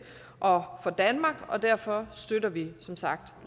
og for danmark og derfor støtter vi som sagt